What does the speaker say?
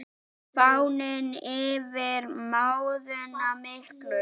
Farin yfir móðuna miklu.